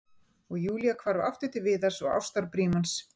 Og Júlía hvarf aftur til Viðars og ástarbrímans.